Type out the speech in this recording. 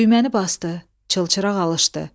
Düyənini basdı, çılçıraq alışdı.